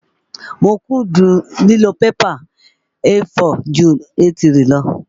Mo kúndùn lílo pẹ́pà A4 ju A3 lọ.